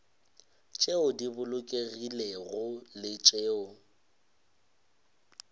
tšeo di bolokegilego le tšeo